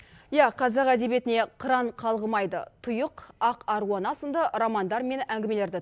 иә қазақ әдебиетіне қыран қалғымайды тұйық ақ аруана сынды романдар мен әңгімелерді